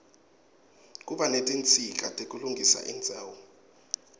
kuba netinsita tekulungisa indzawo